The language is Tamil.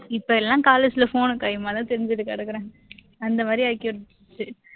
இப்போ எல்லாம் college ல phone உம் கைய்யுமா தான் திரிஞ்சுட்டு கிடக்குறேன், அந்த மாதிரி ஆக்கி விட்டுருச்சு